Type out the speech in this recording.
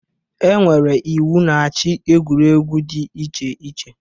E nwere iwu na-achị egwuregwu dị iche iche.